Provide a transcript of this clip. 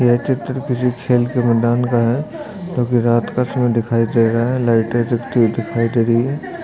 ये चित्र किसी खेल के मैदान का है क्योंकि रात का समय दिखाई दे रहा है लाइटे दिखाई दे रही है।